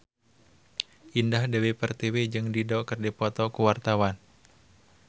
Indah Dewi Pertiwi jeung Dido keur dipoto ku wartawan